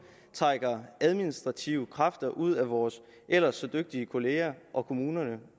trækker administrative kræfter ud af vores ellers så dygtige kollegaer og kommunerne